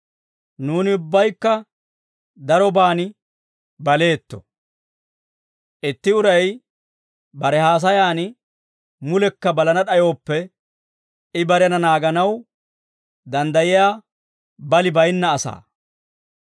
Nuuni ubbaykka daroban baleetto; itti uray bare haasayan mulekka balana d'ayooppe, I barena naaganaw danddayiyaa bali bayinna asaa.